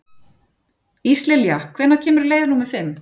Íslilja, hvenær kemur leið númer fimm?